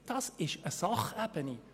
Das ist eine Sachebene.